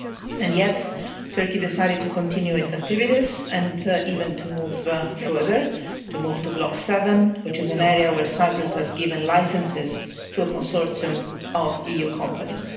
And yet Turkey decided to continue its activities and even to move further, to move to Block 7, which is an area where Cyprus has given licenses to a consortium of EU companies.